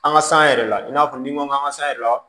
An ka san yɛrɛ la i n'a fɔ n'i ma an ka san yɛrɛ la